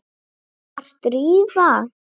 Var Drífa.?